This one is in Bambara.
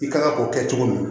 I kan ka o kɛ cogo min